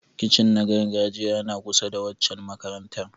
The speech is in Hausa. Kitchen na gargajiya yana kusa da waccan makarantar.